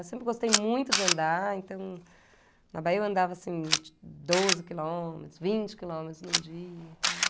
Eu sempre gostei muito de andar, então, na Bahia eu andava, assim, de doze quilômetros, vinte quilômetros num dia e tal.